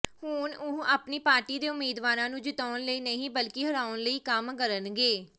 ਹੁਣ ਉਹ ਆਪਣੀ ਪਾਰਟੀ ਦੇ ਉਮੀਦਵਾਰਾਂ ਨੂੰ ਜਿਤਾਉਣ ਲਈ ਨਹੀ ਬਲਕਿ ਹਰਾਉਣ ਲਈ ਕੰਮ ਕਰਨਗੇ